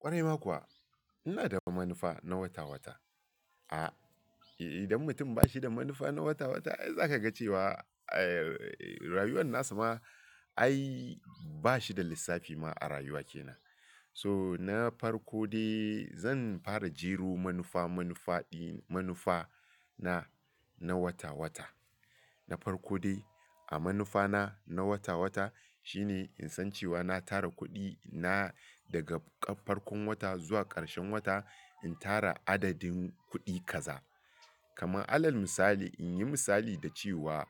Ƙwarai ma kuwa ina da manufa na wata-wata. A'a, idan mutum bashi da manufa na wata-wata, ai zakaga cewa, eh, rayuwar nasa ma ai bashi da lissafi ma a rayuwa kenan. So na farko de zan fara jero manufa-manufa di --manufa na na wata-wata. Na farko dai a manufa na, na wata-wata shine in san cewa na tara kuɗi na daga farkon wata zuwa ƙarshen wata, in tara adadin kuɗi kaza. Kama alal misali, inyi misali da cewa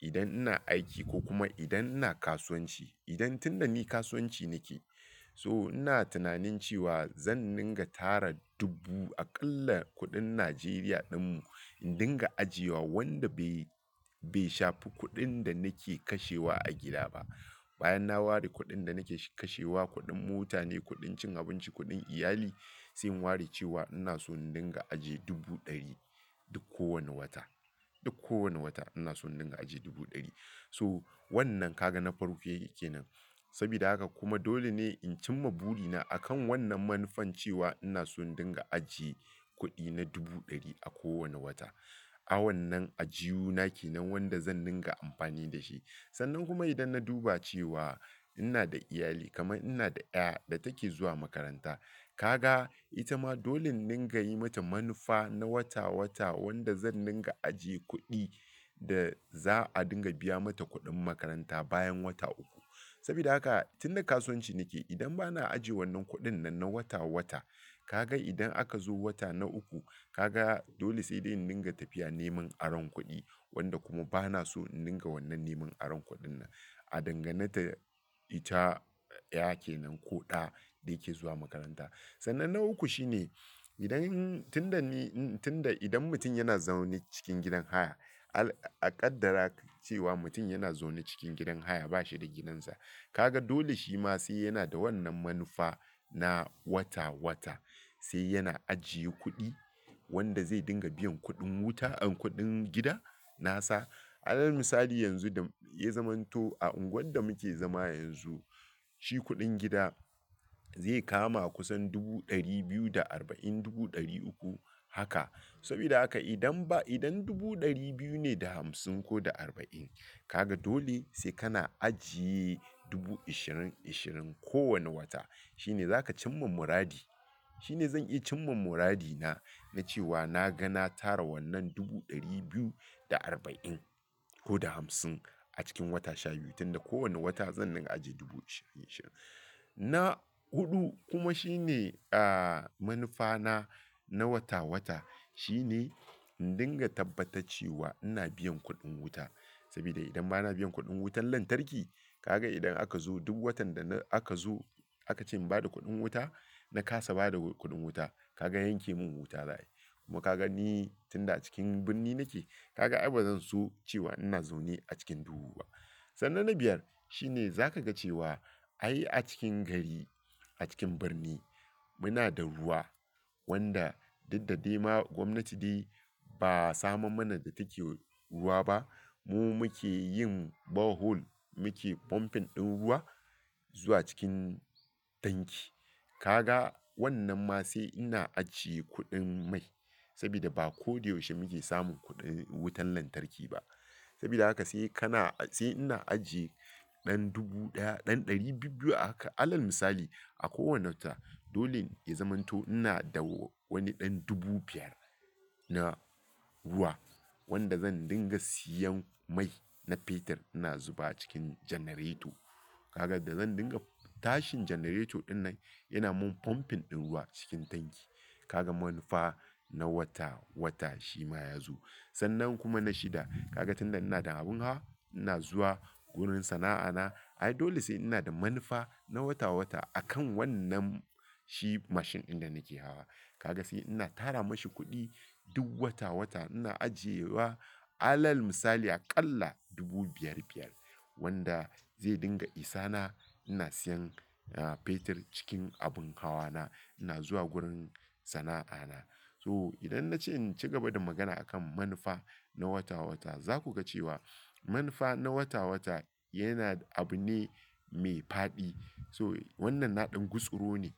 idan ina aiki ko kuma idan ina kasuwanci, idan tunda ni kasuwanci nake so ina tunanin cewa zan dinga tara dubu a ƙalla kuɗin Najeriya ɗinmu, in dinga ajiye wa wanda bai, bai shafi kuɗin da nake kashewa a gida ba. Bayan na ware kuɗin da nake kashewa, kuɗin mota ne, kuɗin cin abinci, kuɗin iyali, sai in ware cewa ina so in dinga ajiye dubu ɗari duk kowane wata, duk kowane wata ina so in dinga ajiye dubu ɗari. So wannan kaga na farko kenan. Sabida haka kuma dole ne in cimma buri na akan wannan manufan cewa ina so in dinga ajiye kuɗi na dubu ɗari a kowane wata. A wannan ajiyu nake nan wanda zan dinga amfani dashi. Sannan kuma idan na duba cewa ina da iyali kamar inada ƴa da take zuwa makaranta, kaga ita ma dole in dinga yi mata manufa na wata-wata wanda zan dinga ajiye kuɗi da za'a dinga biya mata kuɗin makaranta bayan wata uku. Sabida haka tun da kasuwanci nake, idan bana ajiye wannan kuɗin nan na wata-wata, kaga idan aka zo wata na uku, kaga dole sai dai in dinga tafiya neman aron kuɗi wanda kuma bana so in dinga wannan neman aron kuɗin nan. A dangane ta ita, ƴa kenan ko ɗa da yake zuwa makaranta. Sannan na uku shine idan tunda ni, tunda idan mutum yana zaune cikin gidan haya, al-- a ƙaddara cewa mutum yana zaune cikin gidan haya, bashi da gidansa, kaga dole shima sai yana da wannan manufa na wata-wata. Sai yana ajiye kuɗi wanda zai dinga biyan kuɗin wuta and kuɗin gida nasa. Alal misali yanzu da ya zamanto a unguwar da muke zama yanzu, shi kuɗin gida zai kama kusan dubu ɗari biyu da arba'in, dubu ɗari uku, haka. Sabida haka idan ba, idan dubu ɗari biyu ne da hamsin ko da arba'in, kaga dole sai kana ajiye dubu ishirin ishirin kowane wata. Shine zaka cimma muradi. Shine zan iya cimma muradi na na cewa naga na tara wannan dubu ɗari biyu da arba'in koda hamsin a cikin wata shabiyu tunda kowane wata zan dinga ajiye dubu ishirin ishirin. Na huɗu kuma shine, ah, manufa na, na wata-wata shine in dinga tabbata cewa ina biyan kuɗin wuta. Sabida idan bana biyan kuɗin wutar lantarki, kaga idan aka zo duk watan dana aka zo aka ce in bada kuɗin wuta, na ƙasa ba da kuɗin wuta, kaga yanke mun wuta za'ayi. Kuma kaga ni tunda cikin birni nake, kaga ai bazan so cewa ina zaune a cikin duhu ba. Sannan na biyar shine zakaga cewa ai a cikin gari, a cikin birni muna da ruwa wanda duk dade ma gwamnati dai ba samar mana da take ruwa ba. Mu muke yin borehole, muke pumping ɗin ruwa zuwa cikin tanki. Kaga wannan ma sai ina ajiye kuɗin mai sabida ba koda yaushe muke samun kuɗin wutar lantarki ba. Sabida haka sai kana, sai ina ajiye ɗan dubu ɗaya, ɗan ɗari biyu, biyu haka. Alal misali a kowane wata, dole ya zamanto inada wani ɗan dubu biyar na ruwa wanda zan dinga siyan mai na fetir ina zuba cikin janareto. Kaga da zan dinga tashin janareto ɗinnan yana mun pumping ɗin ruwa cikin tanki. Kaga manufa na wata-wata shima yazo. Sannan kuma na shida, kaga tunda inada abin hawa ina zuwa wurin sana'a na, ai dole sai ina da manufa na wata-wata akan wannan shi mashin ɗin da nake hawa. Kaga sai ina tara mashi kuɗi duk wata-wata ina ajiye wa alal misali a ƙalla dubu biyar, biyar wanda zai dinga isa na ina siyan, ah, fetir cikin abin hawa na ina zuwa gurin sana'a na. So idan nace inci gaba da magana akan manufa na wata-wata, zakuga cewa manufa na wata-wata yana abu ne mai faɗi. So wannan na ɗan gutsuro ne.